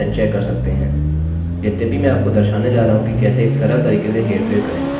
अब मैं क्या करूँगा कि मैं 2 गुणे का पहाड़ा करने जा रहा हूँ